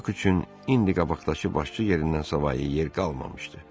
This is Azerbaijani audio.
Bax üçün indi qabaqdakı başçı yerindən savayı yer qalmamışdı.